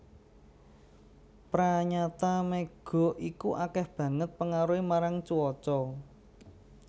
Pranyata mega iku akéh banget pengaruhé marang cuaca